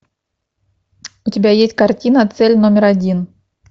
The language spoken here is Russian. у тебя есть картина цель номер один